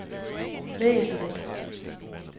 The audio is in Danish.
væsentligt